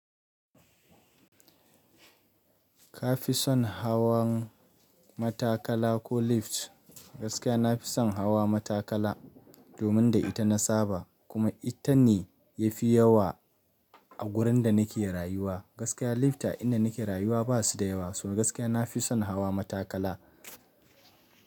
Ka fi son hawan matakala ko lift? Gaskiya na fi son hawa matakala domin da ita na saba kuma ita ne ya fi yawa a wurin da nake rayuwa. Gaskiya lifta inda nake rayuwa ba su da yawa, suna gaskiya na fi son hawa matakala.